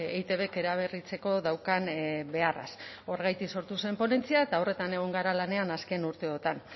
eitbk eraberritzeko daukan beharraz horregatik sortu zen ponentzia eta horretan egon gara lanean azken urteotan